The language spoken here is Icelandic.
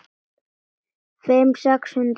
Þeirra á meðal aðilum.